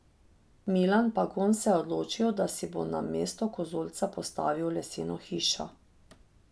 Milan Pagon se je odločil, da si bo na mestu kozolca postavil leseno hišo.